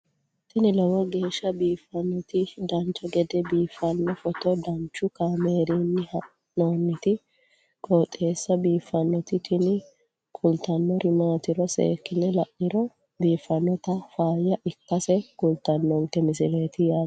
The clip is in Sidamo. tini lowo geeshsha biiffannoti dancha gede biiffanno footo danchu kaameerinni haa'noonniti qooxeessa biiffannoti tini kultannori maatiro seekkine la'niro biiffannota faayya ikkase kultannoke misileeti yaate